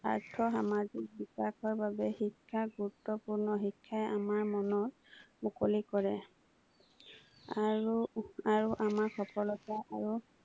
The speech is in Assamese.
আৰ্থ-সামাজিক বিকাশৰ বাবে শিক্ষা গুৰুত্বপূৰ্ণ, শিক্ষাই আমাৰ মন মুকলি কৰে আৰু আৰু আমাৰ সফলতা আৰু